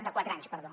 de quatre anys perdó